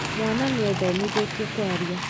Mwana nĩethomithĩtie kwaria